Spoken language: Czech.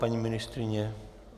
Paní ministryně?